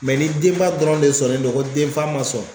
ni denba dɔrɔn de sɔnnen no ko denfa man sɔn